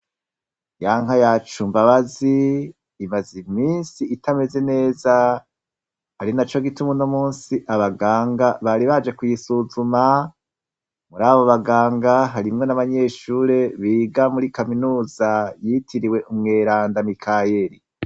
Yanka yacu mbabazi imaze imisi itameze neza arinaco gituma unomusi abaganga bari baje kuyisuzuma. Mur'abobanganga harimwo n'abanyeshure biga muri kaminuza yitiriwe umweranda Mikaheri.